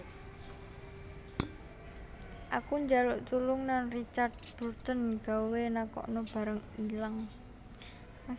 Aku njaluk tulung nang Richard Burton gawe nakokno barang ilang